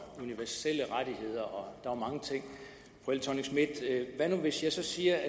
universelle rettigheder og mange ting hvad nu hvis jeg så siger